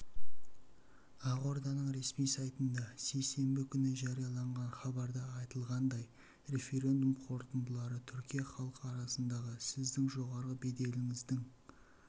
ақорданың ресми сайтында сейсенбі күні жарияланған хабарда айтылғандай референдум қорытындылары түркия халқы арасындағы сіздің жоғары беделіңіздің